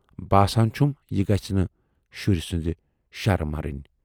باسان چھُم یہِ گٔژھ نہٕ شُرۍ سٕندِ شرٕ مَرٕنۍ۔